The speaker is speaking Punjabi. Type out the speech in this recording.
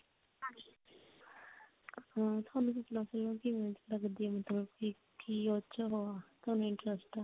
ਅਹ ਤੁਹਾਨੂੰ ਸੁਪਨਾ movie ਕਿਵੇਂ ਦੀ ਲੱਗਦੀ ਆ ਮਤਲਬ ਕੀ ਕੀ ਉਹ ਚ ਉਹ ਆ ਤੁਹਾਨੂੰ interest